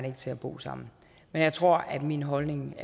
ikke til at bo sammen men jeg tror at min holdning